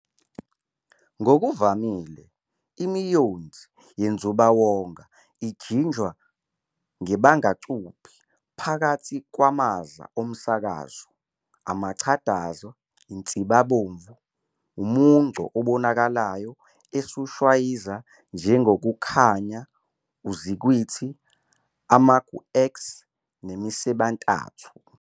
Ngokuvamile, imiyonzi yenzubawonga ijinjwa ngebangacuphi phakathi kwamaza omsakazo, amachadaza, insibomvu, umungco obonakalayo esiwushwayiza njengokukhanya, uzukhwithi, amagu-X nemisebentathu.